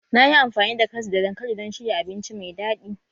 Na yi amfani da karas da dankali don shirya abinci mai daɗi